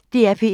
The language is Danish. DR P1